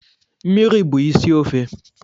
Mmiri bụ isi ofe